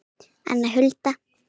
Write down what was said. Anna Hulda.